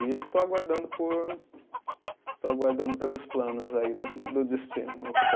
E estou aguardando por, estou aguardando pelos planos aí do do destino